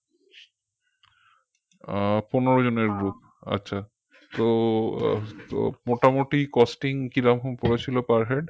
আহ পনের জনের group আচ্ছা তো আহ তো মোটামোটি costing কিরকম পড়েছিল per head